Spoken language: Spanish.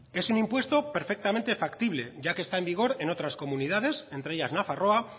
es un impuesto perfectamente factible ya que está en vigor en otras comunidades entre ellas nafarroa